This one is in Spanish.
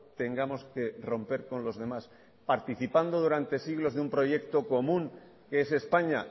tengamos que romper con los demás participando durante siglos de un proyecto común que es españa